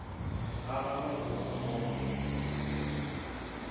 ga gagwe o a bona